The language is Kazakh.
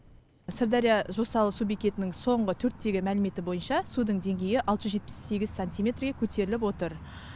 сырдария жосалы су бекетінің соңғы төрттегі мәліметі бойынша судың деңгейі алты жүз жетпіс сегіз сантиметрге көтеріліп отыр